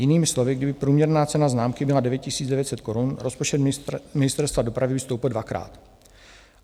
Jinými slovy, kdyby průměrná cena známky byla 9 900 korun, rozpočet ministerstva dopravy by stoupl dvakrát.